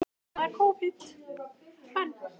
Ingveldur: Og fékk hann þá atkvæðið þitt líka?